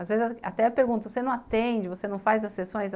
Às vezes até pergunto, você não atende, você não faz as sessões?